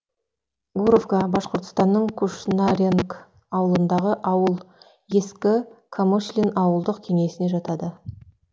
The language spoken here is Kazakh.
гуровка башқұртстанның кушнаренк ауылынындағы ауыл ескі камышлин ауылдық кеңесіне жатады